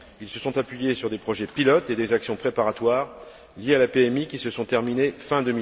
Ils se sont appuyés sur des projets pilotes et des actions préparatoires liées à la PMI qui se sont terminés fin